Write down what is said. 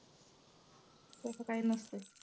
तसं काय नसतं.